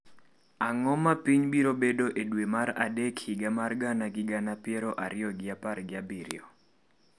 Ang’o ma piny biro bedo e dwe mar adek higa mar gana gi gana piero ariyo gi apar gi abiro